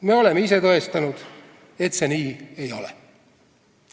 Me oleme ise tõestanud, et see nii ei ole.